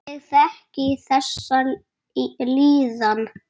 Ég þekki þessa líðan.